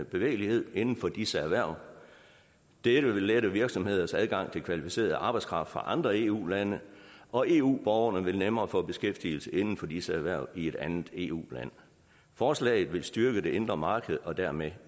bevægelighed inden for disse erhverv dette vil lette virksomhedernes adgang til kvalificeret arbejdskraft fra andre eu lande og eu borgerne vil nemmere få beskæftigelse inden for disse erhverv i et andet eu land forslaget vil styrke det indre marked og dermed